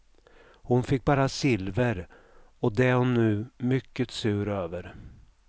Hon fick bara silver och det är hon nu mycket sur över.